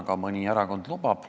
Seda mõni erakond lubab.